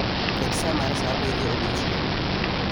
Ket sa mar sa abiriyo mar odiechieng'